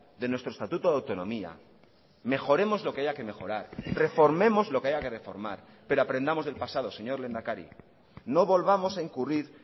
de nuestro estatuto de autonomía mejoremos lo que haya que mejorar reformemos lo que haya que reformar pero aprendamos del pasado señor lehendakari no volvamos a incurrir